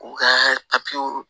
U ka papiyew